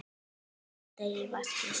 Völl á degi vaskir slá.